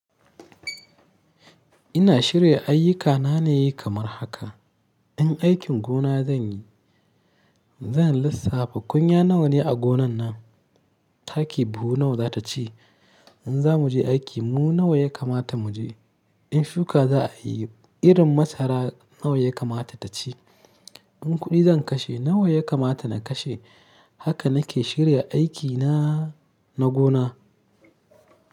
Ina shirya ayyukana ne kamar haka. In aikin gona zan yi, zan lissafta kunya nawa ne a gonan nan, taki buhu nawa za ta ci. In za mu je aiki, mu nawa ya kamata mu je. In shuka za a yi, irin masara nawa ya kamata ta ci. In kuɗi zan kashe, nawa ya kamata na kashe. Haka na ke shirya aikina na gona.